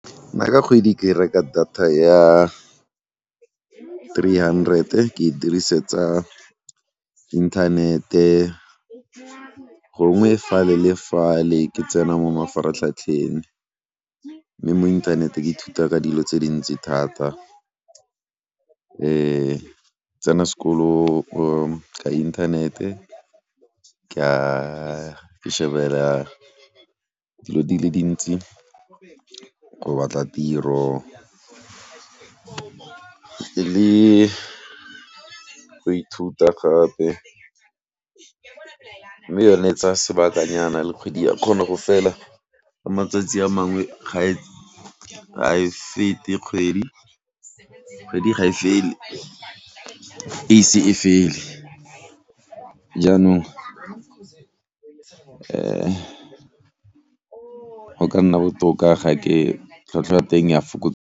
Nna ka kgwedi ke reka data ya three hundred e ke e dirisetsa inthanete, gongwe fale le fale ke tsena mo mafaratlhatlheng mme mo internet ke ithuta ka dilo tse dintsi thata tsena sekolo ka inthanete ka, ke shebella dilo di le dintsi, go batla tiro le go ithuta gape, mme yone e tsaya sebakanyana le kgwedi ya kgona go fela, ka matsatsi a mangwe ga e, ga e fete kgwedi. Kgwedi ga e fele ise e fele. Jaanong go ka nna botoka ga ke tlhwatlhwa ya teng ya .